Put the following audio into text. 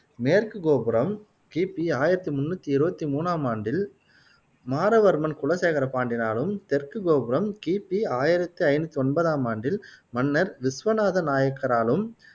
மேற்கு கோபுரம் கிபி ஆயிரத்தி முண்ணூத்தி இருவத்தி மூணாம் ஆண்டில் மாறவர்மன் குலசேகர பாண்டியனாலும் தெற்கு கோபுரம் கிபி ஆயிரத்தி ஐநூத்தி ஒன்பதாம் ஆண்டில் மன்னர் விஸ்வநாத நாயக்காராலும்